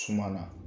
Suma na